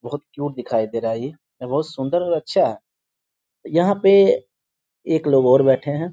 बहुत क्यूट दिखाई दे रहा है ई। यह बहुत सुन्दर और अच्छा है। यहाँ पे एक लोग और बैठे हैं।